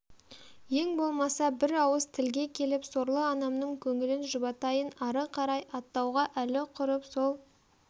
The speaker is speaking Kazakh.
ең болмаса бір ауыз тілге келіп сорлы анамның көңілін жұбатайын ары қарай аттауға әлі құрып сол